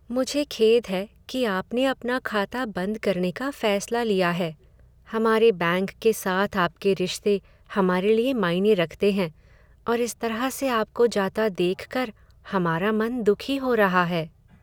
मुझे खेद है कि आपने अपना खाता बंद करने का फैसला लिया है। हमारे बैंक के साथ आपके रिश्ते हमारे लिए मायने रखते हैं और इस तरह से आपको जाता देखकर हमारा मन दुखी हो रहा है।